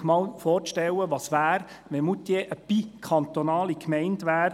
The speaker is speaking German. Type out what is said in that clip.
Es ging darum, sich einmal vorzustellen, was wäre, wenn Moutier eine bikantonale Gemeinde wäre.